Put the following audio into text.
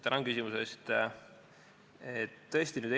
Tänan küsimuse eest!